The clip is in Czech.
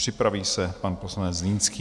Připraví se pan poslanec Zlínský.